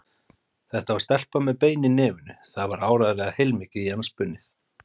Þetta var stelpa með bein í nefinu, það var áreiðanlega heilmikið í hana spunnið.